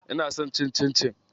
Ina son cin cincin.